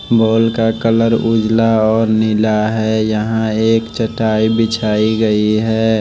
Mall का colour उजला और नीला हैं यहां एक चटाई बिछाई गयी हैं।